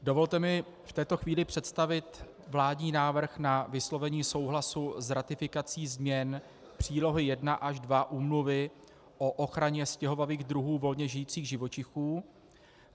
Dovolte mi v této chvíli představit vládní návrh na vyslovení souhlasu s ratifikací změn přílohy I a II Úmluvy o ochraně stěhovavých druhů volně žijících živočichů.